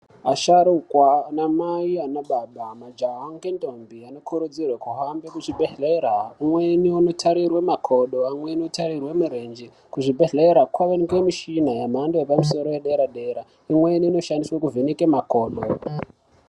Asharukwa anamai, anababa, majaha ngendombi anokurudzirwe kuhamba kuzvibhedhera. Umweni unotarirwe makodo, umweni unotarirwe murenje kuzvibhedhlera kwavanikwe mishina yemhando yepamusoro yedera-dera. Imweni inoshandiswe kuvheneka makodo.